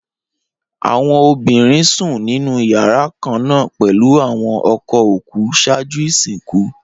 Awọn obinrin sun ninu yara kanna pẹlu awọn ọkọ oku ṣaaju isinku.